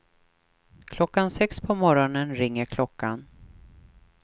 Klockan sex på morgonen ringer klockan.